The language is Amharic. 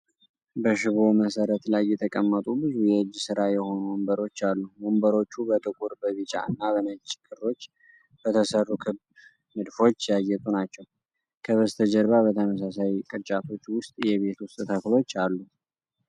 በሽቦ መሠረት ላይ የተቀመጡ ብዙ የእጅ ሥራ የሆኑ ወንበሮች አሉ። ወንበሮቹ በጥቁር፣ በቢጫ እና በነጭ ክሮች በተሰሩ ክብ ንድፎች ያጌጡ ናቸው። ከበስተጀርባ በተመሳሳይ ቅርጫቶች ውስጥ የቤት ውስጥ ተክሎች አሉ።